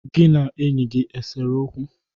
Gị na enyi gi esere okwu?